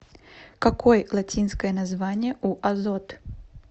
какой латинское название у азот